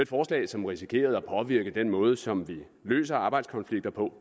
forslag som risikerede at påvirke den måde som vi løser arbejdskonflikter på